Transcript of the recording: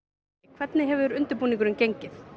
hvernig hefur undirbúningurinn gengið